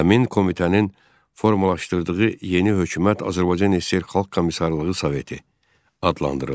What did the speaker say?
Həmin komitənin formalaşdırdığı yeni hökumət Azərbaycan SSR Xalq Komissarlığı Soveti adlandırıldı.